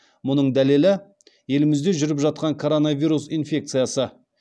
мұның дәлелі елімізде жүріп жатқан коронавиурс инфекциясы